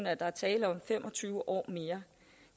at der er tale om fem og tyve år mere